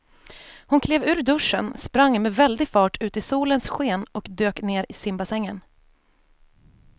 Hon klev ur duschen, sprang med väldig fart ut i solens sken och dök ner i simbassängen.